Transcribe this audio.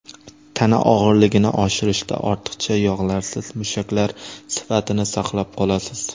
Tana og‘irligini oshirishda ortiqcha yog‘larsiz mushaklar sifatini saqlab qolasiz.